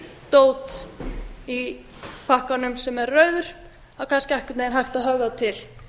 dót í pakkanum sem er rauður þá er kannski einhvern veginn hægt að höfða til